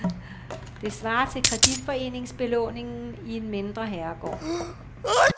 Det svarer til kreditforeningsbelåningen i en mindre herregård.